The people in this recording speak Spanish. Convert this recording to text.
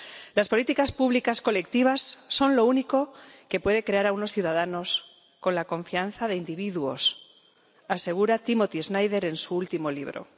Las políticas públicas colectivas son lo único que puede crear a unos ciudadanos con la confianza de individuos, asegura Timothy Snyder en su último libro.